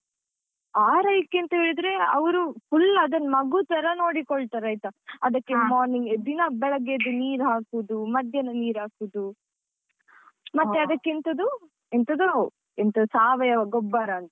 ಆರೈಕೆ ಅಂತ ಹೇಳಿದ್ರೆ ಅವರು full ಅದನ್ನು ಮಗು ತರ ನೋಡಿಕೊಳ್ತಾರೆ ಆಯ್ತಾ, ಅದಕ್ಕೆ morning ದಿನಾ ಬೆಳಗ್ಗೆ ಎದ್ದು ನೀರು ಹಾಕುವುದು, ಮಧ್ಯಾಹ್ನ ನೀರಾಕುದು ಮತ್ತೆ ಅದಕ್ಕೆಂತದು ಎಂತದೋ ಎಂತ ಸಾವಯವ ಗೊಬ್ಬರ ಅಂತೆ.